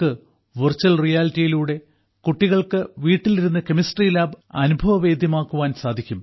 virtual റിയാലിറ്റിയിലൂടെ കുട്ടികൾക്ക് വീട്ടിൽ ഇരുന്നു കെമിസ്ട്രി ലാബ് അനുഭവവേദ്യമാക്കാൻ സാധിക്കും